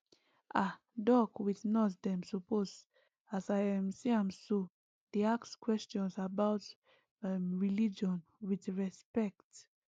ah doc with nurse dem suppose as i um see am so dey ask questions about umreligion with respect